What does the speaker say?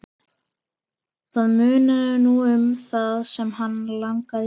Það munaði nú um það sem hann lagði til.